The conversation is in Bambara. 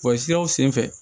Bɔlɔlɔ siraw senfɛ